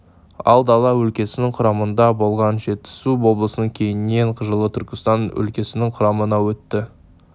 ал дала өлкесінің құрамында болған жетісу облысы кейіннен жылы түркістан өлкесінің құрамына өтті